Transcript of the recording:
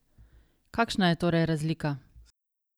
Kakšna je torej razlika?